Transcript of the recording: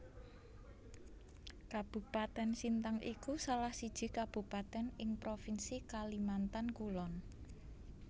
Kabupatèn Sintang iku salah siji kabupatèn ing provinsi Kalimantan Kulon